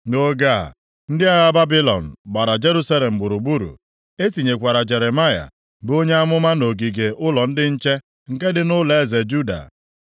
Nʼoge a, ndị agha Babilọn gbara Jerusalem gburugburu. E tinyekwara Jeremaya, bụ onye amụma nʼogige ụlọ ndị nche nke dị nʼụlọeze Juda.